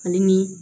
Ale ni